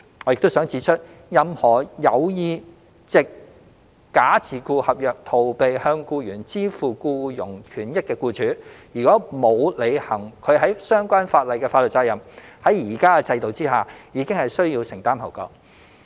我亦想指出，任何有意藉假自僱合約逃避向僱員支付僱傭權益的僱主，如果沒有履行其在相關法例下的法律責任，在現行制度下已經需要承擔後果。